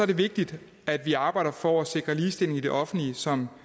det vigtigt at vi arbejder for at sikre ligestilling i det offentlige som